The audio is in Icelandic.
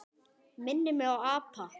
Minnir mig á apa.